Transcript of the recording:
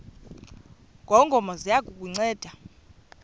ngongoma ziya kukunceda